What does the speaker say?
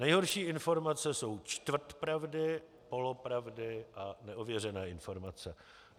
Nejhorší informace jsou čtvrt pravdy, polopravdy a neověřené informace.